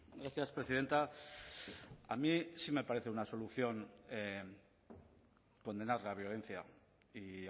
gracias presidenta a mí sí me parece una solución condenar la violencia y